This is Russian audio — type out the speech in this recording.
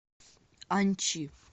анчи